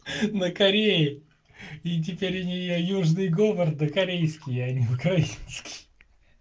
на корее и теперь у неё южный говор да корейский а не украинский